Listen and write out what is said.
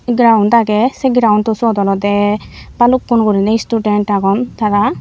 ground agey se groundo suot olode bhalukkun guriney student agon tara.